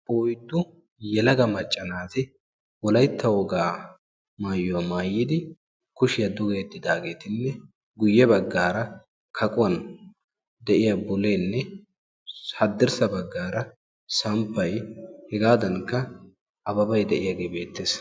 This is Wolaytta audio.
Oyddu yelaga macca naati wolaytta woga maayyuwa maayyidi kushiya duge yediidageeruppe guyyee baggaara kaqquwan de'iya bullenne haddirssa baggaara de'iyaa samppay hegadankka Ababbay de'iyaage beettees.